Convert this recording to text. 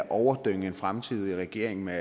overdynge en fremtidig regering med